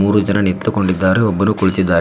ಮೂರು ಜನ ನಿಂತುಕೊಂಡಿದ್ದಾರೆ ಒಬ್ಬನು ಕುಳಿತ್ತಿದಾನೆ.